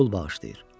pul bağışlayır.